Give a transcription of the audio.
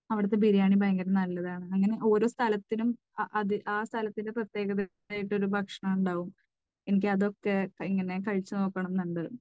അവിടുത്തെ ബിരിയാണി ഭയങ്കര നല്ലതാണെന്ന്. അങ്ങനെ ഓരോ സ്ഥലത്തിനും ആ സ്ഥലത്തിൻറെ പ്രത്യേകതയായിട്ട് ഒരു ഭക്ഷണം ഉണ്ടാകും. എനിക്ക് അതൊക്കെ ഇങ്ങനെ കഴിച്ചു നോക്കണം എന്നുണ്ട്.